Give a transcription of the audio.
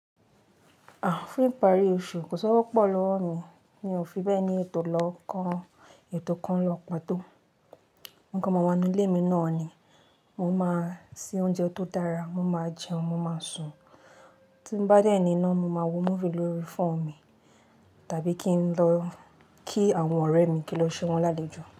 À, fún ìparí oṣù kò si ówo pupo lọ́wọ́ mi, mi ò fi bẹ́ẹ̀ ni ètò lọ́kàn, ètò kan lọ pàtó. Mo kan maa wa ninú ilé mi náà ni, mo máa ń se oúnjẹ tó dára, mo máa jẹun, mo máa sùn. Tí n bá dẹ́ ní iná, mo máa wo múfì lórí fóònù mi tàbí kín lọ kí àwọn ọ̀rẹ́ mi kín lọ ṣẹ́ wọn lálejò.